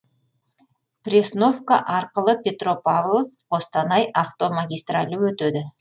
пресновка арқылы петропавловск қостанай автомагистралі өтеді